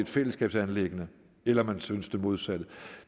fællesskabsanliggende eller man synes det modsatte